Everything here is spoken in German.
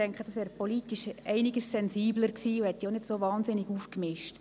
Dies wäre politisch um einiges sensibler gewesen und hätte nicht so hohe Wellen geworfen.